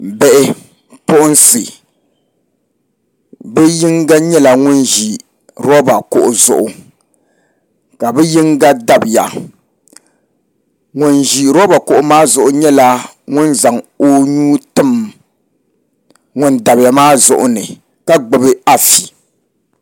Bipuɣunsi bi yinga nyɛla ŋun ʒi roba kuɣu zuɣu ka bi yinga dabiya ŋun ʒi roba kuɣu maa zuɣu nyɛla ŋun zaŋ o nuu tim ŋun dabiya maa zuɣu ni ka gbubi afi